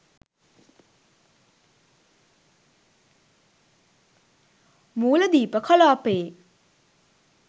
මූලදීප කලාපයේ